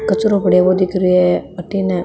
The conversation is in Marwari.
कचरो पड़ो है वो दिख रो है अठन --